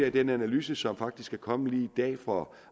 af den analyse som faktisk er kommet lige i dag fra